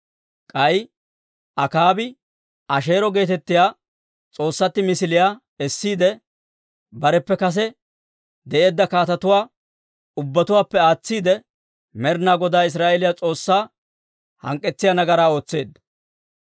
K'ay Akaabi Asheero geetettiyaa s'oossatti misiliyaa essiide, bareppe kase de'eedda kaatetuwaa ubbatuwaappe aatsiide Med'inaa Godaa Israa'eeliyaa S'oossaa hank'k'etsiyaa nagaraa ootseedda.